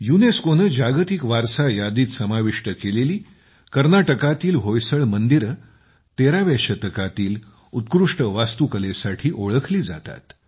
युनेस्कोने जागतिक वारसा यादीत समाविष्ट केलेली कर्नाटकातील होयसडा मंदिरे 13व्या शतकातील उत्कृष्ट वास्तुकलेसाठी ओळखली जातात